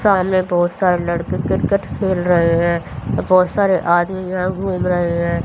सामने बहुत सारे लड़के क्रिकेट खेल रहे हैं बहुत सारे आदमी यहां घूम रहे हैं।